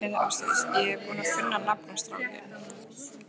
Heyrðu Ásdís, ég er búinn að finna nafn á strákinn.